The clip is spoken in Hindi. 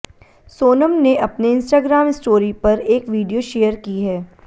सोनम ने अपने इंस्टाग्राम स्टोरी पर एक वीडियो शेयर की है